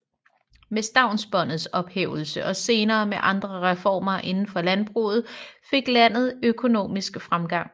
Med stavnsbåndets ophævelse og senere med andre reformer inden for landbruget fik landet økonomisk fremgang